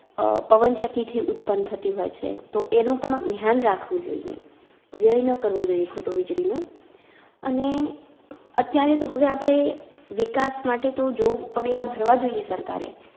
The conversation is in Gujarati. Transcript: અ પવનચક્કી થી ઉત્પન થતી હોય છે તો એનું પણ ધ્યાન રાખવું જોઈએ, વ્યય ન કરવો જોઈએ ખોટો વીજળીનો અને, અત્યારે તો હવે આપડે વિકાસ માટે તો જોઉ પગલાં ભરવા જોઈએ સરકારે